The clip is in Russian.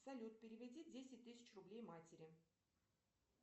салют переведи десять тысяч рублей матери